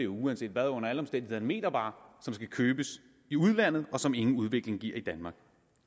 uanset hvad under alle omstændigheder en metervare som skal købes i udlandet og som ingen udvikling giver i danmark